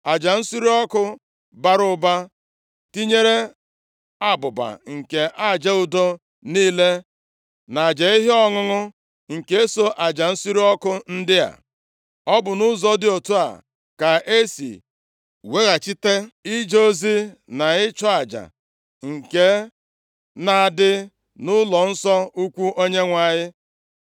Aja nsure ọkụ bara ụba, tinyere abụba nke aja udo niile, na aja ihe ọṅụṅụ nke so aja nsure ọkụ ndị a. Ọ bụ nʼụzọ dị otu a ka e si weghachite ije ozi na ịchụ aja nke na-adị nʼụlọnsọ ukwu Onyenwe anyị.